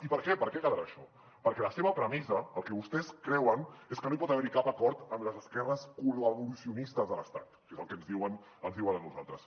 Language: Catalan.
i per què per què quedarà això perquè la seva premissa el que vostès creuen és que no hi pot haver cap acord amb les esquerres col·laboracionistes de l’estat que és el que ens diuen a nosaltres